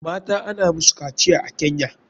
Mata ana musu kaciya a kenya